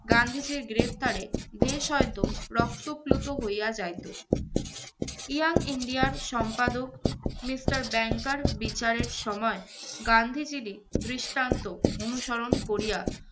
গান্ধিজীর গ্রেফতারে দেশ হয়তো রক্তপ্লুত হইয়া যাইতো। Young India র সম্পাদক, mister ব্যাংকার বিচারের সময় গান্ধিজীরই দৃষ্টান্ত অনুসরণ করিয়া